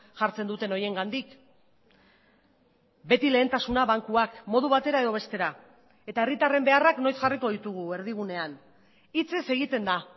jartzen duten horiengandik beti lehentasuna bankuak modu batera edo bestera eta herritarren beharrak noiz jarriko ditugu erdigunean hitzez egiten da